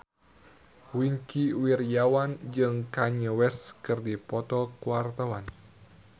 Wingky Wiryawan jeung Kanye West keur dipoto ku wartawan